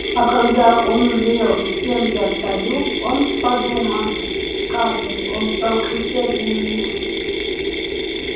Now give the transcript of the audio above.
а когда он узрел с кем я стою он подумай скарлетт он стал кричать на меня